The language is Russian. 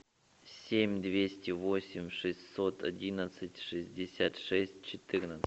семь двести восемь шестьсот одиннадцать шестьдесят шесть четырнадцать